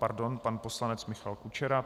Pardon, pan poslanec Michal Kučera.